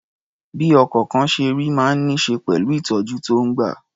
Bí ọkọ̀kan ṣe rí máa ń ní ṣe pẹ̀lú ìtọ̀jú tó ń gbà.